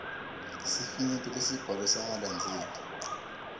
sifinyeto lesibhalwe sangalandzeli